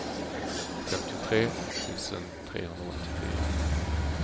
femtiotre tusen trehundraåttiofyra